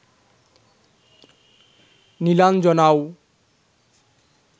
নীলাঞ্জনাও